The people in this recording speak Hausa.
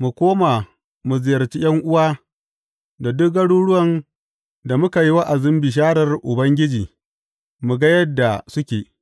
Mu koma mu ziyarci ’yan’uwa a duk garuruwan da muka yi wa’azin bisharar Ubangiji mu ga yadda suke.